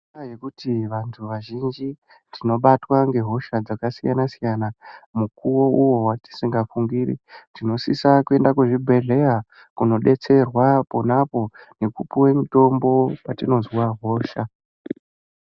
Nekuti vantu vazhinji tinobatwa ngehosha dzakasiyana siyana mukuwo uwo watisingafungiri tinosisa kuende kuzvibhedhleya kunodetserwa ponapo kupuwe mutombo patinozwa hosha.